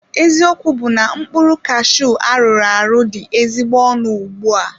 Eziokwu bu na mkpụrụ kashuu arụrụ arụ dị ezigbo ọnụ ùgbúà